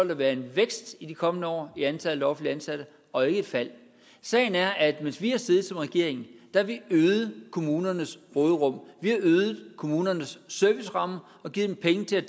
der være en vækst i de kommende år i antallet af offentligt ansatte og ikke et fald sagen er at mens vi har siddet som regering har vi øget kommunernes råderum vi har øget kommunernes serviceramme og givet dem penge til